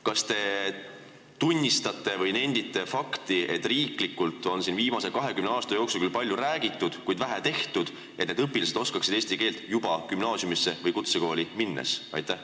Kas te tunnistate või nendite fakti, et riiklikult on viimase 20 aasta jooksul küll palju räägitud, kuid vähe tehtud selleks, et need õpilased oskaksid eesti keelt juba gümnaasiumisse või kutsekooli minnes?